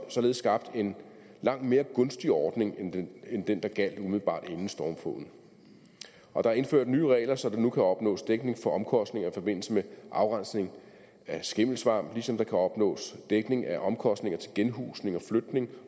således skabt en langt mere gunstig ordning end den der gjaldt umiddelbart inden stormfloden og der er indført nye regler så der nu kan opnås dækning for omkostninger i forbindelse med afrensning af skimmelsvamp ligesom der kan opnås dækning af omkostninger til genhusning og flytning